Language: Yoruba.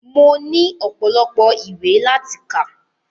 Mo ní ọpọ́lọpọ́ ìwé láti kà.